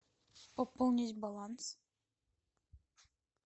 пополнить баланс